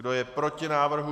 Kdo je proti návrhu?